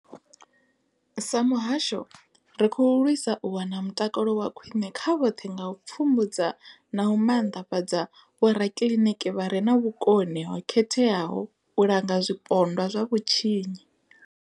Sa muhasho, ri khou lwisa u wana mutakalo wa khwine kha vhoṱhe nga u pfumbudza na u maanḓafhadza vhorakiḽiniki vha re na vhukoni ho khetheaho u langa zwipondwa zwa vhutshinyi.